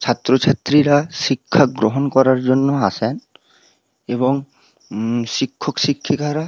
ছাত্র ছাত্রীরা শিক্ষা গ্রহণ করার জন্য আসেন এবং উম শিক্ষক শিক্ষিকারা --